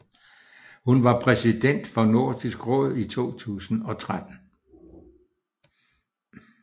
Hun var præsident for Nordisk Råd i 2013